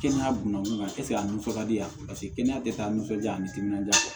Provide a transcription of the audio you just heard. Kɛnɛya buna eseke a nisɔn ka di yan paseke kɛnɛya tɛ taa nisɔndiya ani timinanja